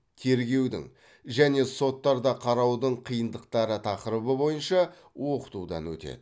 тергеудің және соттарда қараудың қиындықтары тақырыбы бойынша оқытудан өтеді